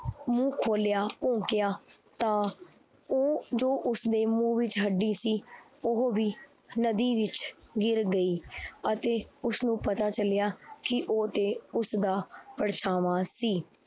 ਮੂੰਹ ਖੋਲਿਆ ਭੋਂਕਿਆ ਤਾਂ ਉਹ ਜੋ ਉਸਦੇ ਮੂੰਹ ਵਿੱਚ ਹੱਡੀ ਸੀ, ਉਹ ਵੀ ਨਦੀ ਵਿੱਚ ਗਿਰ ਗਈ ਅਤੇ ਉਸਨੂੰ ਪਤਾ ਚੱਲਿਆ ਕਿ ਉਹ ਤੇ ਉਸਦਾ ਪਰਛਾਵਾਂ ਸੀ।